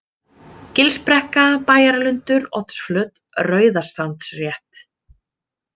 Gilsbrekka, Bæjarlundur, Oddsflöt, Rauðasandsrétt